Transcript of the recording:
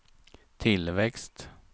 tillväxt